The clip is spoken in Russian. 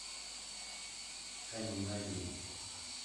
камень на оби